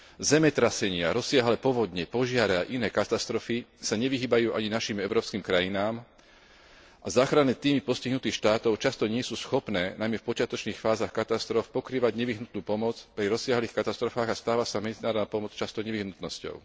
Zemetrasenia, rozsiahle povodne, požiare a iné katastrofy sa nevyhýbajú ani našim európskym krajinám a záchranné tímy postihnutých štátov často nie sú schopné, najmä v počiatočných fázach katastrof, pokrývať nevyhnutnú pomoc pri rozsiahlych katastrofách a medzinárodná pomoc sa často stáva nevyhnutnosťou.